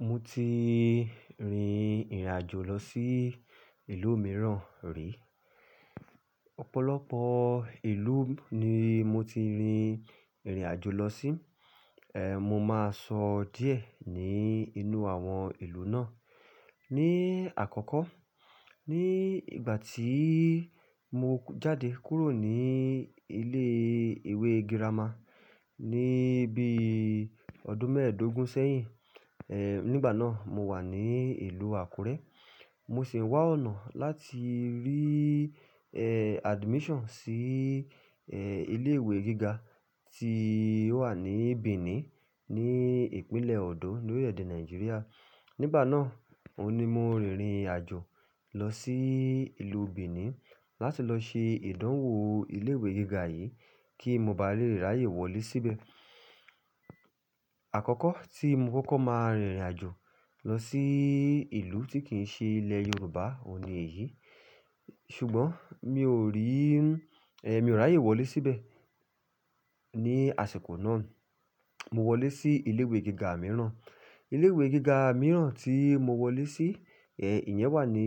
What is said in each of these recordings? Mo ti rìn irìnàjò lọ sí ìlú mìíràn rí. Ọ̀pọ̀lọpọ̀ ìlú ni mo ti rìnrìn àjò lọ sí. Ehn, mo máa sọ díẹ̀ ní inú àwọn ìlú náà. Ni àkọ́kọ́, ní ìgbà tí mo jáde kúrò ní ilé ìwé girama ní bí ọdún mẹ́ẹ̀ẹ́dógún sẹ́yìn. Ehn, nígbà náà mo wà ní ìlú Àkúrẹ́. Mo sì wá ọ̀nà láti rí, ehn, admission sí, ehn, ilé ìwé gíga tí wà ní Benin, ní ìpínlẹ̀ Odọ́, ní orílẹ̀ èdè Nàìjíríà. Nígbà náà, òní mo rìnrìn àjò lọ sí ìlú Benin láti lọ ṣe ìdánwò ilé ìwé gíga yìí kí mo ba le ráyè wọlé síbẹ̀. Àkọ́kọ́ tí mo kọ́kọ́ máa rìnrìn àjò lọ sí ìlú tí kìí ṣe ilẹ̀ Yorùbá, òní èyí. Ṣùgbọ́n mi ò rí, ehn, mi ò ráyè wọlé síbẹ̀ ní àsìkò náà. Mo wọlé sí ilé ìwé gíga mìíràn. Ilé ìwé gíga mìíràn tí mo wọlé sí, ehn, ìyẹn wà ní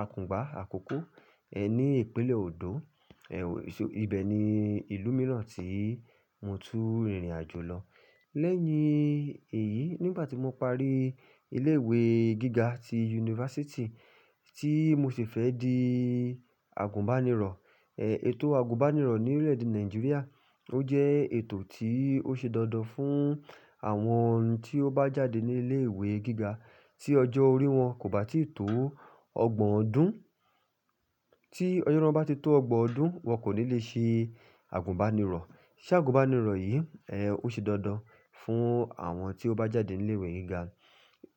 Àkùngbá, Àkókó, ehn, ní ìpínlẹ̀ Ọndọ́. Ibẹ̀ ni ìlú mìíràn tí mo tu rìnrìn àjò lọ. Lẹ́yìn èyí, nígbà tí mo parí ilé ìwé gíga ti yunifásítì tí mo sì fẹ́ di àgùnbánirọ̀. Ehn, ètò àgùnbánirọ̀ ní orílẹ̀ èdè Nàìjíríà, ó jẹ́ ètò tí ó ṣe dandan fún àwọn tí ó bá jáde ní ilé ìwé gíga tí ọjọ́ orí wọn kò bá tí tó ọgbọ̀n ọdún. Tí ọjọ́ orí wọn bá ti tó ọgbọ̀n ọdún, wọn kò ní lè ṣe àgùnbánirọ̀. Ṣé àgùnbánirọ̀ yìí, ehn, ó ṣe dandan fún àwọn tí ó bá jáde ní ilé ìwé gíga.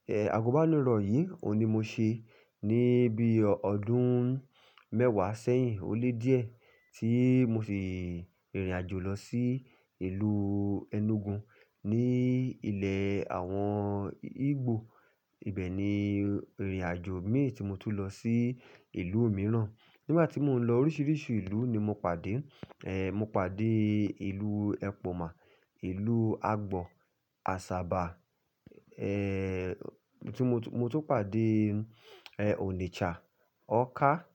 Ehn, àgùnbánirọ̀ yìí òní mo ṣe ní bí ọdún mẹ́wàá sẹ́yìn ó lé díẹ̀ tí mo sì rìnrìn àjò lọ sí ìlú Enugu ní ilẹ̀ àwọn Igbò. Ibẹ̀ ni rìnrìn àjò mi tí mo tún lọ sí ìlú mìíràn. Nígbà tí mò ń lọ oríṣiríṣi ìlú ni mo pàdé. Ehn, mo pàdé ìlú Epoma, ìlú Agbọ̀, Asaba, ehn, tí mo tún, mo tún pàdé, ehn, Onitsha, Awka,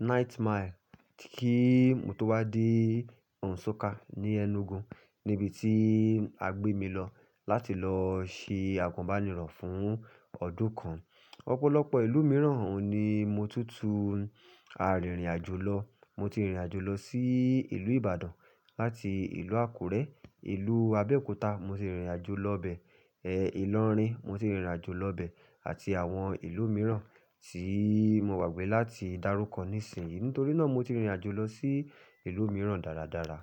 Nine Mile kí mo tó wá dé Nsukka ní Enugu níbi tí a gbé mi lọ láti lọ ṣe àgùnbánirọ̀ fún ọdún kan. Ọ̀pọ̀lọpọ̀ ìlú mìíràn òní mo tún tu àrìnrìn àjò lọ. Mo ti rìnrìn àjò lọ sí ìlú Ìbàdàn láti ìlú Àkúrẹ́, ìlú Abẹ́òkúta mo ti rìnrìn àjò lọ bẹ̀. Ehn, Ìlọrin mo ti rìnrìn àjò lọ bẹ̀ àti àwọn ìlú mìíràn tí mo gbagbé láti dárúkọ nísìnyí. Nítorí náà mo ti rìnrìn àjò lọ sí ìlú mìíràn dáradára.